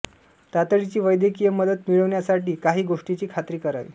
तातडीची वैद्यकीय मदत मिळविण्यासाठी काहीं गोष्टींची खात्री करावी